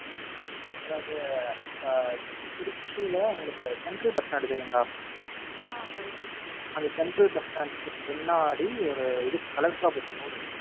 அதாவது உம் திருச்சில உங்களுக்கு Central bus stand தெரியுங்களா? அந்த Central bus stand க்கு பின்னாடி ஒரு இது Collector office road ஒன்னு போகும்.